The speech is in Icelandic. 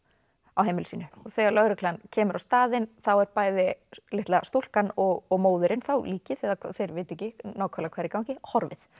á heimili sínu og þegar lögreglan kemur á staðinn þá er bæði litla stúlkan og móðirin þá líkið þeir vita ekki nákvæmlega hvað er í gangi horfið